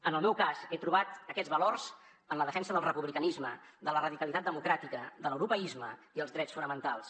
en el meu cas he trobat aquests valors en la defensa del republicanisme de la radicalitat democràtica de l’europeisme i els drets fonamentals